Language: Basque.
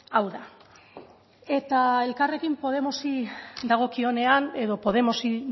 hau da eta elkarrekin podemosi dagokionean edo podemosi